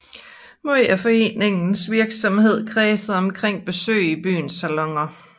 Meget af foreningens virksomhed kredsede omkring besøg i byens saloner